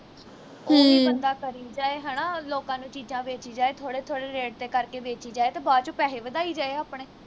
ਉਹ ਵੀ ਬੰਦਾ ਕਰੀ ਜਾਏ ਹਣਾ ਲੋਕਾਂ ਨੂੰ ਚੀਜਾਂ ਵੇਚੀ ਜਾਏ ਥੋੜੇ ਥੋੜੇ rate ਤੇ ਕਰਕੇ ਵੇਚੀ ਜਾਏ ਤੇ ਬਾਅਦ ਵਿਚ ਪੈਹੇ ਵਧਾਈ ਜਾਏ ਆਪਣੇ